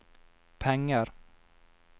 penger